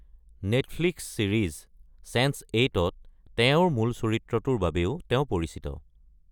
Netflix series চেন্স৮-ত তেওঁৰ মূল চৰিত্ৰটোৰ বাবেও তেওঁ পৰিচিত।